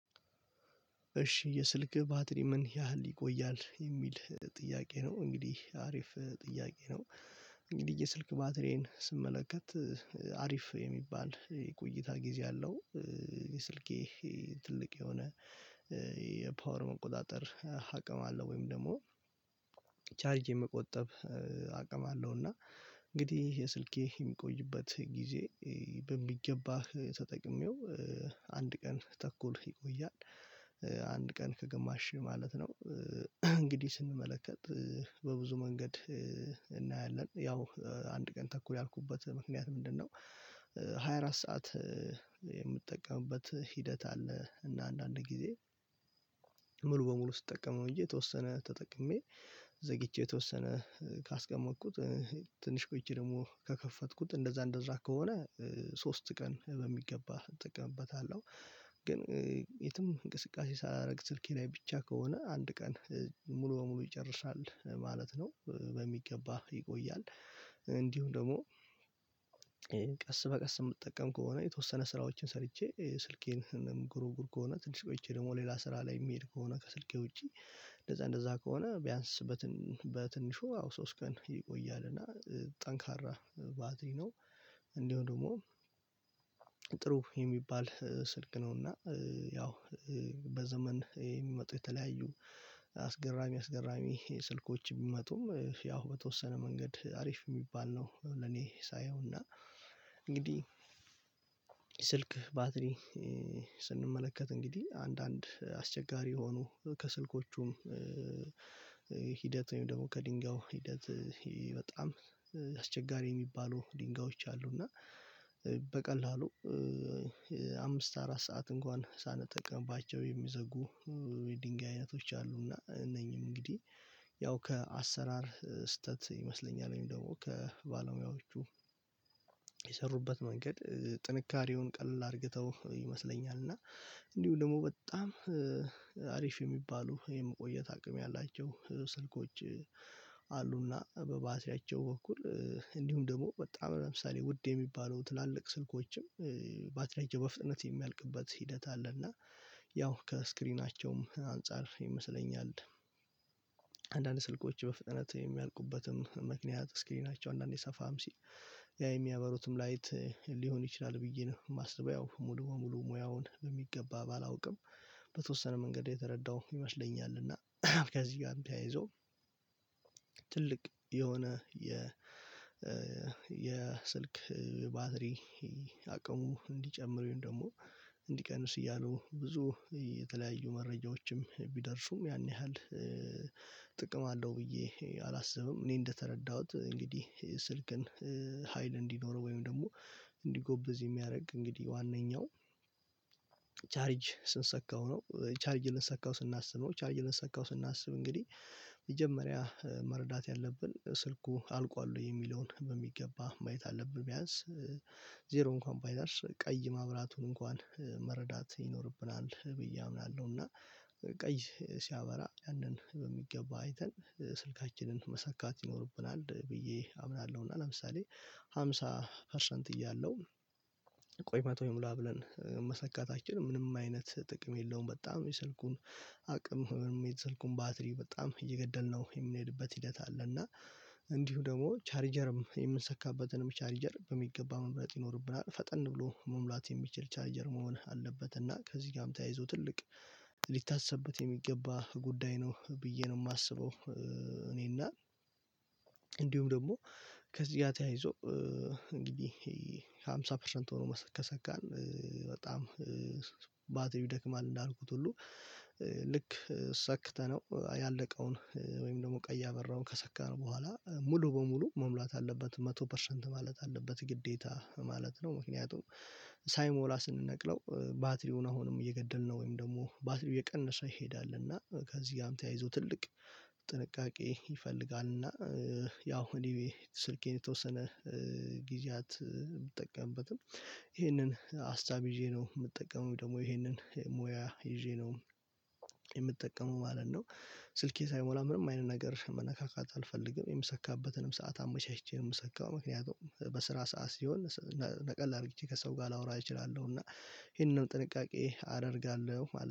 እሺ የስልክህ ባትሪ ምን ያህል ይቆያል የሚል ጥያቄ ነው? እንግዲህ አሪፍ ጥያቄ ነው እንግዲህ የስልክ ባትሪየን ስመለከት አሪፍ የሚባል የቆይታ ጊዜ አለው። የስልኬ ትልቅ የሆነ የፓወር መቆጣጠር አቅም አለው ወይም ደግሞ ቻርጅ የመቆጠብ አቅም አለው። እና እንግዲህ የስልኬ የሚቆይበት ጊዜ በሚገባህ ተጠቅሜው አንድ ቀን ተኩል ይቆያል ቀን ከግማሽ ማለት ነው። እንግዲህ ስንመለከት በብዙ መንገድ ያው አንድ ቀን ተኩል ያልኩበት ምክንያት ምንድነው? ሃያ አራት ሰዓት ሂደት አለ። እና አንዳንድ ጊዜ ሙሉ በሙሉ ስትጠቀመው እንጂ የተወሰነ ተጠቅሜ ዘግቼ የተወሰነ ካስቀመጥኩት ትንሽ ቆይቸ ደግሞ ከከፈትኩት እንደዛ እንደዛ ከሆነ ሶስት ቀን በሚገባ እጠቀምበታለሁ። ግን የትም እንቅስቃሴ ሳላደርግ ስልኬ ላይ ብቻ ከሆነ አንድ ቀን ሙሉ በሙሉ ይጨርሳል ማለት ነው። በሚገባ ይቆያል እንዲሁ ደግሞ ቀስ በቀስ የምትጠቀም ከሆነ የተወሰነ ስራዎችን ሰርቼ ስልኬን ምጎረጉር ከሆነ ትንሽ ቆይቼ ደግሞ ሌላ ስራ ላይ የሚሄድ ከሆነ ከስልኬ ውጪ እንደዛ እንደዛ ከሆነ ቢያንስ በትንሹ አዎ ሶስት ቀን ይቆያል እና ጠንካራ ባድሪ ነው። እንደው ደግሞ ጥሩ የሚባል ስልክ ነው እና ያው በዘመን የሚመጡ የተለያዩ አስገራሚ አስገራሚ ስልኮች ቢመጡም ያው በተወሰነ መንገድ አሪፍ የሚባል ነው። ለኔ ሳየውና እንግዲህ ስልክ ባትሪ ስንመለከት እንግዲህ አንዳንድ አስቸጋሪ የሆኑ ከስልኮቹም ወይም ደግሞ ከድንጋው ሂደት በጣም አስቸጋሪ የሚባሉ ድንጋዮች አሉ። እና በቀላሉ አምስት አራት ሰዓት እንኳን ሳንጠቅምባቸው የሚዘጉ የድንጋይ አይነቶች አሉና እነኚህም እንግዲህ ያው ከአሰራር ስህተት ይመስለኛል ወይም ደግሞ ከባለሙያዎቹ የሰሩበት መንገድ ጥንካሬውን ቀልል አድርግተው ይመስለኛል። እና እንዲሁ ደግሞ በጣም አሪፍ የሚባሉ የመቆየት አቅም ያላቸው ስልኮች አሉና በባትሪያቸው በኩል እንዲሁም ደግሞ በጣም ለምሳሌ ውድ የሚባለው ትላልቅ ስልኮችም ባትሪያቸው በፍጥነት የሚያልቅበት ሂደት አለ። እና ያው ከስክሪናቸውም አንፃር ይመስለኛል አንዳንድ ስልኮች በፍጥነት የሚያልቁበትም ምክንያት ስክሪናቸው አንዳንዴ ሰፋም ሲል የሚያበሩትም ላይት ሊሆን ይችላል ብዬ ነው የማስበው ሙሉ በሙሉ ሙያውን በሚገባ ባላውቅም። በተወሰነ መንገድ የተረዳው ይመስለኛልና ከዚህ ጋርም ተያይዞ ትልቅ የሆነ የ የስልክ ባትሪ አቅሙ እንዲጨምሩ ወይም ደግሞ እንዲቀንስ እያሉ ብዙ የተለያዩ መረጃዎችም ቢደርሱም ያን ያህል ጥቅም አለው ብዬ አላስብም። እኔ እንደተረዳሁት እንግዲህ ስልክን ሀይል እንዲኖረው ወይም ደግሞ እንዲጎበዝ የሚያደርግ እንግዲህ ዋነኛው ቻርጅ ልንሰካው ነው። ቻርጅ ልንሰካው ስናስብ ነው ቻርጅ ልንሰካው ስናስብ እንግዲህ መጀመሪያ መረዳት ያለብን ስልኩ አልቋል ወይ የሚለውን በሚገባ ማየት አለብን። ቢያንስ ዜሮ እንኳን ባይደርስ ቀይ ማብራቱን እንኳን መረዳት ይኖርብናል ብዬ አምናለሁና ቀይ ሲያበራ ያንን በሚገባ አይተን ስልካችንን መሰካት ይኖርብናል ብዬ አምናለሁ። እና ለምሳሌ ሃምሳ ፐርሰንት እያለሁ ቆይ መቶ ይሙላ ብለን መሰካታችን ምንም አይነት ጥቅም የለውም። በጣም የስልኩን አቅም የስልኩን ባትሪ በጣም እየገደልነው የሚሄድበት ሂደት አለ። እና እንዲሁ ደግሞ ቻሪጀርም የምንሰካበትንም ቻሪጀር በሚገባ መምረጥ ይኖርብናል ፈጠን ብሎ መሙላት የሚችል ቻርጀር መሆን አለበት። እና ከዚህ ጋርም ተያይዞ ትልቅ ሊታሰበት የሚገባ ጉዳይ ነው ብዬ ነው የማስበው። እኔና እንዲሁም ደግሞ ከዚህ ጋር ተያይዞ እንግዲህ ከሃምሳ ፐርሰንት ሆኖ ከሰካን በጣም ባትሪው ይደክማል እንዳልኩት ሁሉ ልክ ሰክተነው ያለቀውን ወይም ደግሞ ቀይ ያበራውን ከሰከረ በኋላ ሙሉ በሙሉ መሙላት አለበት መቶ ፐርሰንት ማለት አለበት ግዴታ ማለት ነው። ምክንያቱም ሳይሞላ ስንነቅለው ባትሪውን አሁንም እየገደልን ወይም ደግሞ ባትሪው እየቀነሰ ይሄዳል እና ከዚህ ጋርም ተያይዞ ትልቅ ጥንቃቄ ይፈልጋል። እና ያው እኔ ስልኬን የተወሰነ ጊዜያት ብጠቀምበትም ይህንን ሀሳብ ይዤ ነው የምጠቀመው ደግሞ ይሄንን ሙያ ይዤ ነው የምጠቀመው ማለት ነው። ስልኬ ሳይሞላ ምንም አይነት ነገር መነካካት አልፈልግም። የምሰካበትንም ሰዓት አመቻችቼ የምሰካው ምክንያቱም በስራ ሰዓት ሲሆን ነቀል አድርጌ ከሰው ጋር ላወራ እችላለሁ እና ይሄንንም ጥንቃቄ አደርጋለሁ